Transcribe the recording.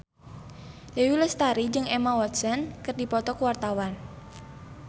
Dewi Lestari jeung Emma Watson keur dipoto ku wartawan